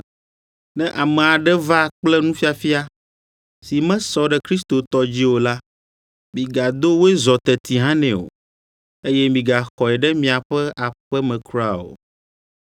Ne ame aɖe va kple nufiafia si mesɔ ɖe Kristo tɔ dzi o la, migado wòezɔ teti hã nɛ o, eye migaxɔe ɖe miaƒe aƒe me kura o.